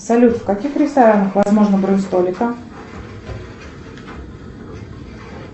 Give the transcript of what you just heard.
салют в каких ресторанах возможна бронь столика